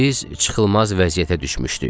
Biz çıxılmaz vəziyyətə düşmüşdük.